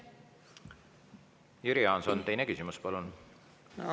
Jüri Jaanson, teine küsimus, palun!